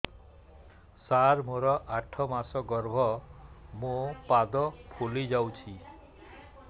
ସାର ମୋର ଆଠ ମାସ ଗର୍ଭ ମୋ ପାଦ ଫୁଲିଯାଉଛି